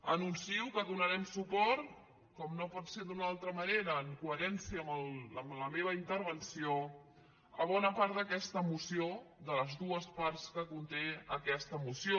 anuncio que donarem suport com no pot ser d’una altra manera en coherència amb la meva intervenció a bona part d’aquesta moció de les dues parts que conté aquesta moció